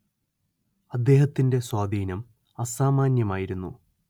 അദ്ദേഹത്തിന്റെ സ്വാധീനം അസാമാന്യമായിരുന്നു